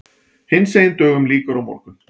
Hinsegin dögum lýkur á morgun.